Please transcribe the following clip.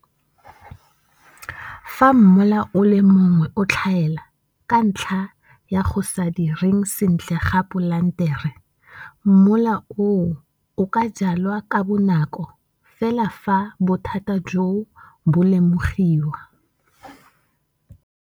Fa mola o le mongwe o tlhaela, ka ntlha ya go sa direng sentle ga polantere, mola oo o ka jalwa ka bonako fela fa bothata joo bo lemogiwa.